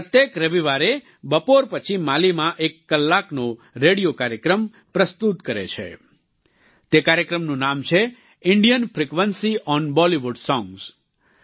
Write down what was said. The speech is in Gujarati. પ્રત્યેક રવિવારે બપોર પછી માલીમાં એક કલાકનો રેડિયો કાર્યક્રમ પ્રસ્તુત કરે છે તે કાર્યક્રમનું નામ છે Indian frequency on Bollywood songs